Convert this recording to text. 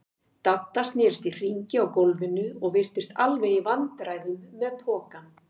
Dadda snerist í hringi á gólfinu og virtist alveg í vandræðum með pokann.